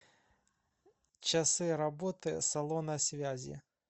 часы работы салона связи